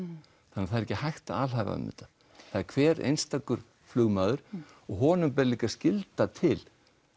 það er ekki hægt að alhæfa um þetta hver einstakur flugmaður og honum ber skylda til